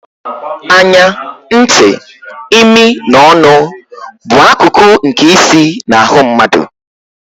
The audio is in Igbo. Anya, ntị, imi na ọnụ bụ akụkụ nke isi na ahụ mmadụ.